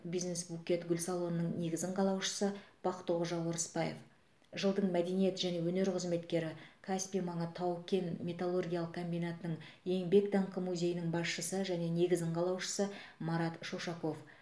бизнес букет гүл салонының негізін қалаушысы бақтықожа орысбаев жылдың мәдениет және өнер қызметкері каспий маңы тау кен металлургиялық комбинатының еңбек даңқы музейінің басшысы және негізін қалаушысы марат шушаков